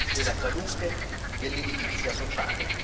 della salute e dell'edilizia sociale.